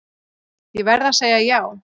Ég verð að segja já.